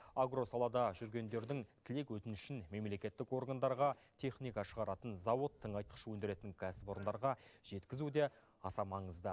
агро салада жүргендердің тілек өтінішін мемлекеттік органдарға техника шығаратын зауыт тыңайтқыш өндіретін кәсіпорындарға жеткізу де аса маңызды